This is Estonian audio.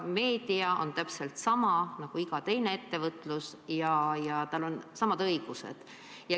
Meedia on täpselt sama asi nagu iga muu ettevõtlus ja tal on samad õigused.